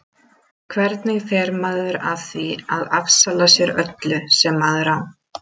Hvernig fer maður að því að afsala sér öllu sem maður á?